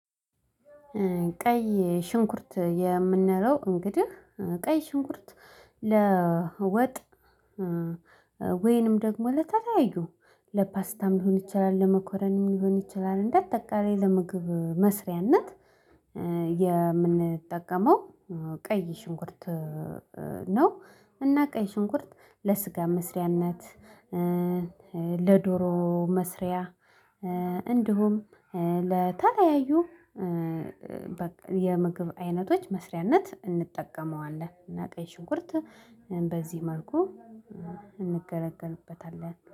ቀይ ሽንኩርት የምንለው እንግዲህ ቀይ ሽንኩርት ለወጥ ወይንም ደግሞ ለተለያዩ ለፓስታም ሊሆን ይችላል ለመኮረንም ሊሆን ይችላል እንደ ጠቃላይ ለመግብ መስሪያነት የምንጠቀመው ቀይ ሽንኩርት ነው። እና ቀይ ሽንኩርት ለስጋ መስሪያነት ለዶሮ መስሪያ እንዲሁም ለተለያዩ የምግብ አይነቶች መስሪያነት እንጠቀመዋለን። እና ቀይ ሽንኩርት በዚህ መልኩ እንገለገልበታለን።